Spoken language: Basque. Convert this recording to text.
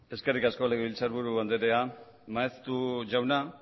eskerrik askolegebiltzarburu andrea maeztu jauna